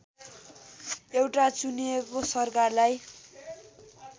एउटा चुनिएको सरकारलाई